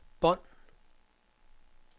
bånd